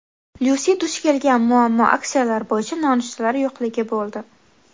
Lyusi duch kelgan muammo aksiyalar bo‘yicha nonushtalar yo‘qligi bo‘ldi.